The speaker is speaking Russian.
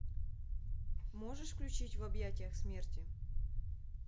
можешь включить в объятиях смерти